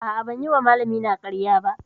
A'a, ban yi wa malamina ƙarya ba.